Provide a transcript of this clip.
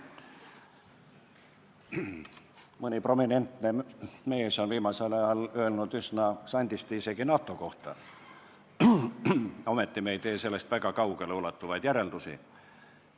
Mõni prominentne mees on viimasel ajal öelnud üsna sandisti isegi NATO kohta, ometi ei tee me sellest väga kaugeleulatuvaid järeldusi.